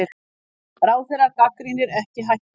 Ráðherra gagnrýnir ekki hækkun